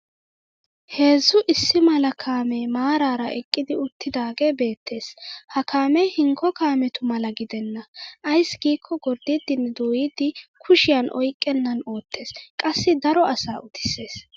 Heezzu issi mala kaamee maaraara eqqidi uttidaagee beettes. Ha kaamee hinkko kaametu mala gidenna ayssi giikko gorddiiddinne dooyiiddi kushiyan oyqqennan oottes qassi daro asaa utissees.